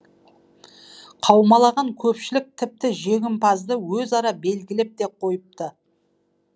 қаумалаған көпшілік тіпті жеңімпазды өзара белгілеп те қойыпты